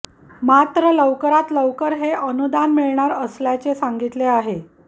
मात्र लवकरात लवकर हे अनुदान मिळणार असल्याचे सांगितले आहे